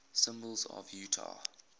symbols of utah